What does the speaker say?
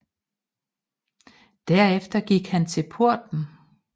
Der efter gik han til porten